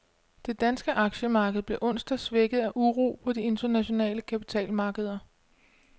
Det danske aktiemarked blev onsdag svækket af uro på de internationale kapitalmarkeder.